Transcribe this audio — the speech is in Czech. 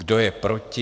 Kdo je proti?